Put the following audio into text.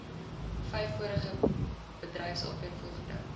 vyf vorige bedryfsopleidingsrade